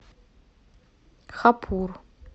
хапур